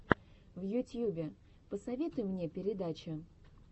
в ютьюбе посоветуй мне передачи